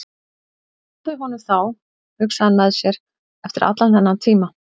Þeir náðu honum þá, hugsaði hann með sér, eftir allan þennan tíma.